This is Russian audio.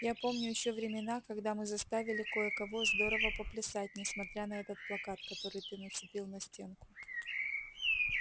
я помню ещё времена когда мы заставили кое-кого здорово поплясать несмотря на этот плакат который ты нацепил на стенку